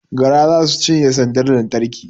Gara za su cinye sandar lantarkin